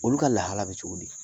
Olu ka lahala bɛ cogo di